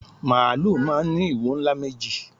Màálù máà ń ní ìwo ńlá méjì